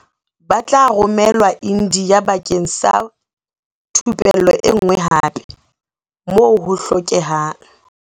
Ba tla romelwa India bakeng sa thupello enngwe hape, moo ho hlokehang.